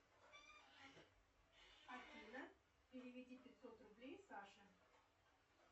афина переведи пятьсот рублей саше